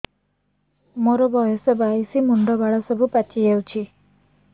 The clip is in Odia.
ମୋର ବୟସ ବାଇଶି ମୁଣ୍ଡ ବାଳ ସବୁ ପାଛି ଯାଉଛି